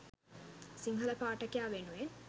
සිංහල පාඨකයා වෙනුවෙන්